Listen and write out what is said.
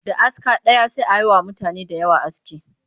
Da aska ɗaya sai a yi wa mutane da yawa aski